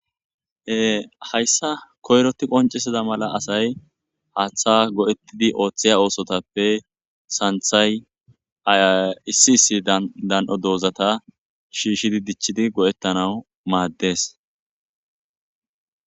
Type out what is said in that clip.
ehayssa koyroti qoncisida mala asay haaththa go7ettidi ooththiya oosotappe santhay a issi issi dan7o doozata shiishidi dichchidi go7ettanau maaddes